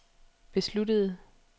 besluttede